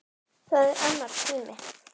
Það er annar tími.